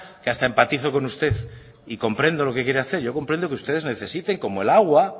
que hasta empatizo con usted y comprendo lo que quiere hacer yo comprendo que ustedes necesiten como el agua